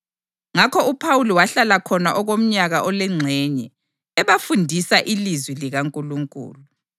Ngakho uPhawuli wahlala khona okomnyaka olengxenye, ebafundisa ilizwi likaNkulunkulu.